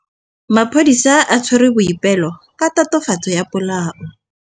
Maphodisa a tshwere Boipelo ka tatofatsô ya polaô.